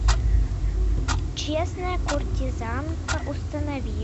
честная куртизанка установи